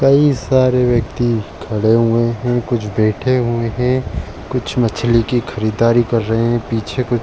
कई सारे व्यक्ति खड़े हुए हैं। कुछ बैठे हुए हैं। कुछ मछली की खरादारी कर रहे पीछे कुछ --